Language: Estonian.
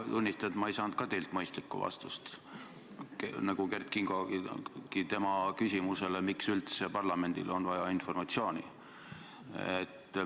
Ma tunnistan, et ma ei saanud ka teilt mõistlikku vastust, nagu Kert Kingogi oma küsimusele, miks üldse parlamendile on vaja informatsiooni.